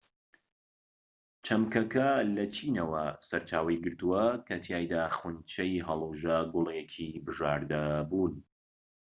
چەمکەکە لە چینەوە سەرچاوەی گرتووە کە تیایدا خونچەی هەڵووژە گوڵێکی بژاردە بوون